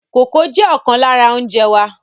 Kókò jẹ ọkan lára oúnjẹ wa.